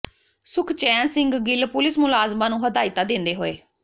Sukhchain Singh Gill police ਮੁਲਾਜ਼ਮਾਂ ਨੂੰ ਹਦਾਇਤਾਂ ਦਿੰਦੇ ਹੋਏ